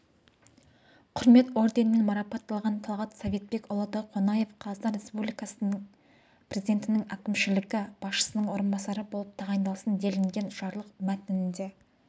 құрмет орденімен марапатталған талғат советбекұлы донақов қазақстан республикасыпрезидентінің әкімшілігі басшысының орынбасары болып тағайындалсын делінген жарлық мәтінінде